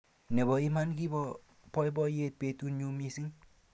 Nebo iman kibo boiboyet betunyu mising